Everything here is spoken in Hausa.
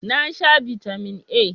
Na sha Bitamin A.